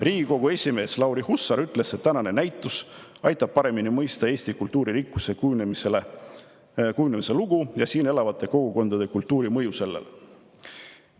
Riigikogu esimees Lauri Hussar ütles, et tänane näitus aitab paremini mõista Eesti kultuuririkkuse kujunemise lugu ja siin elavate kogukondade kultuuri mõju sellele.